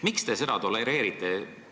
Miks te seda tolereerite?